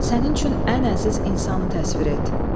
Sənin üçün ən əziz insanı təsvir et.